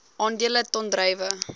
aandele ton druiwe